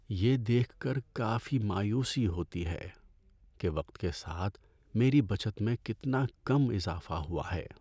یہ دیکھ کر کافی مایوسی ہوتی ہے کہ وقت کے ساتھ میری بچت میں کتنا کم اضافہ ہوا ہے۔